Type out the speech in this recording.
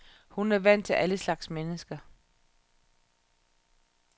Hun er vant til alle slags mennesker.